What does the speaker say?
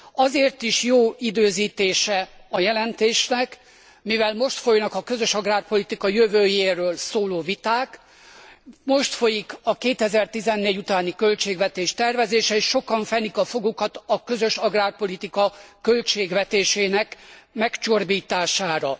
Azért is jó az időzítése a jelentésnek, mivel most folynak a közös agrárpolitika jövőjéről szóló viták, most folyik a 2014 utáni költségvetés tervezése, és sokan fenik a fogukat a közös agrárpolitika költségvetésének megcsorbítására.